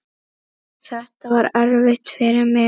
Þetta var erfitt fyrir mig.